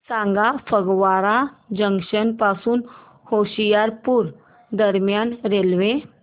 सांगा फगवारा जंक्शन पासून होशियारपुर दरम्यान रेल्वे